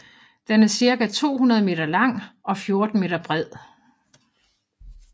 Den er cirka 200 meter lang og 14 meter bred